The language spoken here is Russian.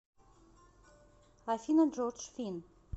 афина джоржд финн